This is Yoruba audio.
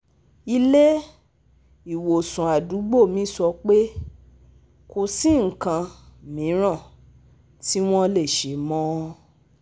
Ile-iwosan àdúgbò mi sọ pé kò sí nnkan miran ti wọn le ṣe mọ